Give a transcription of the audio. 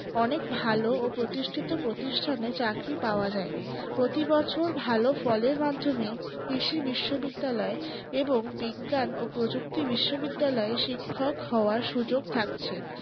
অনেক ভালো ও প্রতিষ্ঠিত প্রতিষ্ঠানে চাকরি পাওয়া যায় প্রতিবছর ভালো ফলের মাধ্যমে কৃষি বিশ্ববিদ্যালয় এবং বিজ্ঞান ও প্রযুক্তি বিশ্ববিদ্যালয় শিক্ষক হওয়ার সুযোগ থাকছে